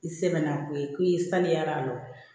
I sɛgɛnna ko ye ko i saniya lɔ